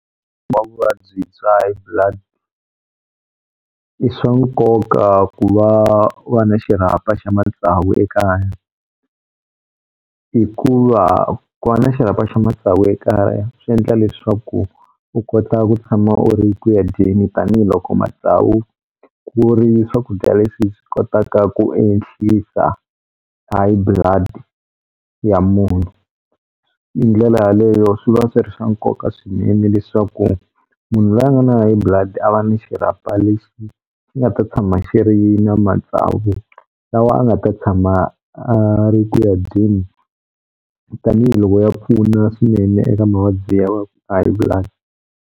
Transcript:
Va vuvabyi bya high blood i swa nkoka ku va va na xirhapa xa matsavu ekaya hikuva ku va na xirhapa xa matsavu ekaya swi endla leswaku u kota ku tshama u ri ku ya dyeni tanihiloko matsavu ku ri swakudya leswi swi kotaka ku ehlisa high blood ya munhu hi ndlela yaleyo swi va swi ri swa nkoka swinene leswaku munhu loyi a nga na high blood a va ni xirhapa lexi xi nga ta tshama xi ri na matsavu lawa a nga ta tshama a ri ku ya dyeni tanihiloko ya pfuna swinene eka mavabyi ya wa high blood.